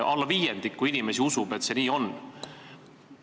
Alla viiendiku inimesi usub, et see nii on.